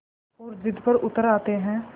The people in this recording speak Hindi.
और ज़िद पर उतर आते हैं